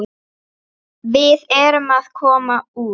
Við erum að koma út.